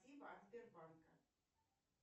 спасибо от сбербанка